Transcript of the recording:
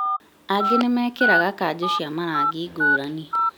Aingĩ nĩmekĩraga kanjũ cia marangi ngũrani